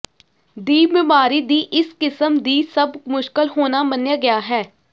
ਦੀ ਬਿਮਾਰੀ ਦੀ ਇਸ ਕਿਸਮ ਦੀ ਸਭ ਮੁਸ਼ਕਲ ਹੋਣਾ ਮੰਨਿਆ ਗਿਆ ਹੈ